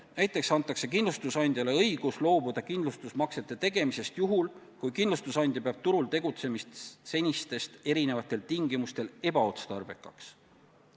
Näiteks antakse kindlustusandjale õigus loobuda kindlustusmaksete tegemisest juhul, kui kindlustusandja peab turul tegutsemist senistest erinevatel tingimustel ebaotstarbekaks.